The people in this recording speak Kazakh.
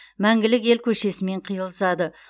мәңгілік ел көшесімен қиылысады